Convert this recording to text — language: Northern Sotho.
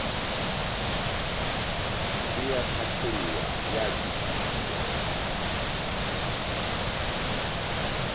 e a hlathollwa ya kwešišwa